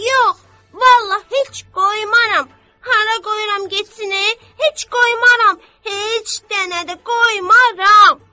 Yox, vallah heç qoymaram, hara qoyuram getsin, heç qoymaram, heç dənə də qoymaram.